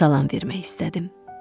Salam vermək istədim.